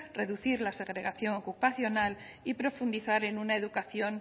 reducir la segregación ocupacional y profundizar en una educación